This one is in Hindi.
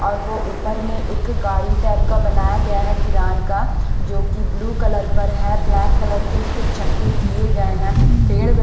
और वो ऊपर में एक गाड़ी टाइप का बनाया गया है किरान का जो कि ब्लू कलर पर है ब्लैक कलर के उसके चक्के किए गए हैं पेड़ में--